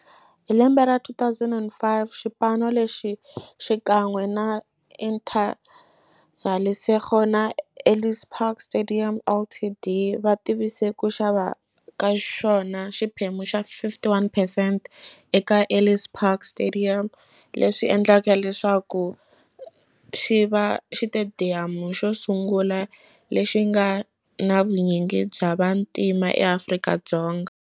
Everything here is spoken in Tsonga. Hi lembe ra 2005, xipano lexi, xikan'we na Interza Lesego na Ellis Park Stadium Ltd, va tivise ku xava ka xona xiphemu xa 51 percent eka Ellis Park Stadium, leswi endleke leswaku xiva xitediyamu xosungula lexi nga na vunyingi bya vantima eAfrika-Dzonga.